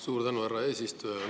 Suur tänu, härra eesistuja!